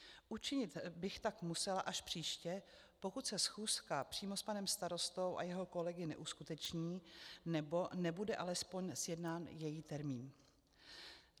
Učinit bych tak musela až příště, pokud se schůzka přímo s panem starostou a jeho kolegy neuskuteční nebo nebude alespoň sjednán její termín.